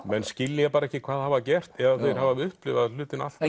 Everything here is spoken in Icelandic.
menn skilja ekki hvað þeir hafa gert eða þeir hafa upplifað hlutina allt